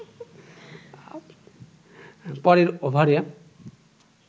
পরের ওভারে